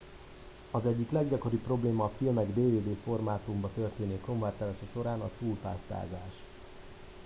az egyik leggyakoribb probléma a filmek dvd formátumba történő konvertálása során a túlpásztázás